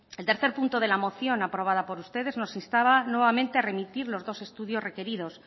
el tercer punto de la moción aprobada por ustedes nos instaba nuevamente a remitir los dos estudios requeridos